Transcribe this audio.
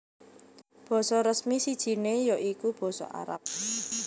Basa resmi sijiné ya iku basa Arab